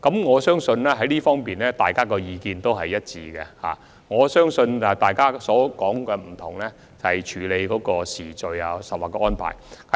我相信在這方面，大家的意見是一致的，不同之處只是處理時序或安排而已。